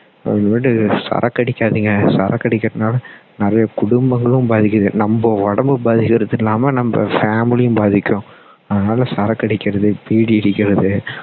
அப்பறம்மேட்டு சரக்கு அடிக்காதீங்க சரக்கு அடிக்கிறதுனால நிறைய குடும்பங்களும் பாதிக்கிது நம்ம உடம்பு பாதிக்குறது இல்லாம நம்ம family யும் பாதிக்கும் அதனால சரக்கு அடிக்குறது பீடி பிடிக்கிறது